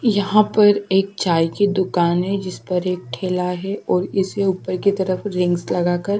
यहाँ पर एक चाय की दुकान है जिस पर एक ठेला है और इससे ऊपर की तरफ रिंग्स लगाकर--